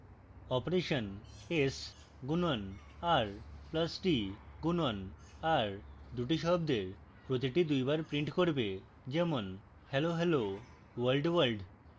operation s গুণন r plus t গুণন r দুটি শব্দের প্রতিটি দুইবার print করবে যেমন hellohelloworldworld